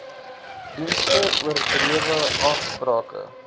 dienste oordrewe aansprake